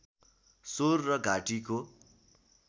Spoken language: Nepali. स्वर र घाँटीको